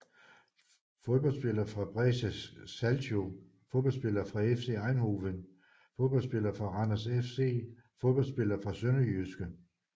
Fodboldspillere fra Brescia Calcio Fodboldspillere fra FC Eindhoven Fodboldspillere fra Randers FC Fodboldspillere fra SønderjyskE